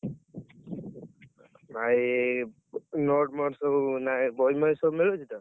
ଭାଇ, note ମୋଟ ସବୁ ମାନେ ବହି ମହି ସବୁ ମିଳୁଛି ତ?